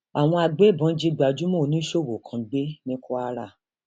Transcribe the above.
àwọn agbébọn jí gbajúmọ oníṣòwò kan gbé ní kwara